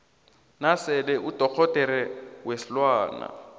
nasele udorhodera weenlwana